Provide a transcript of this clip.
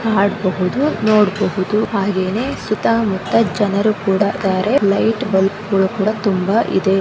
Add ಬಹುದು ನೋಡ್ ಬಹುದು ಹಾಗೆ ನೇ ಸುತ ಮುತ್ತ ಜನರು ಕೂಡ ಇದಾರೆ ಲೈಟ್ ಬಲ್ಪ್ ತುಂಬಾ ಇದೆ.